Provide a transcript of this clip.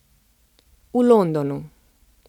V Londonu.